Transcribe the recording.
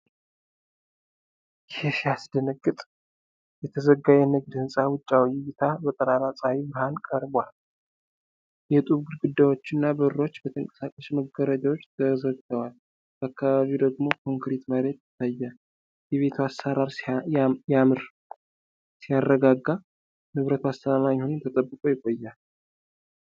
ይሄ ሲያስደነግጥ! የተዘጋ የንግድ ህንፃ ውጫዊ እይታ በጠራራ ፀሐይ ብርሃን ቀርቧል። የጡብ ግድግዳዎችና በሮች በተንቀሳቃሽ መጋረጃዎች ተዘግተዋል። በአካባቢው ደግሞ ኮንክሪት መሬት ይታያል። የቤቱ አሰራር ያምር። ሲያረጋጋ! ንብረቱ አስተማማኝ ሆኖ ተጠብቆ ይቆያል።